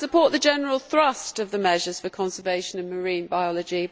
I support the general thrust of the measures for conservation in marine biology.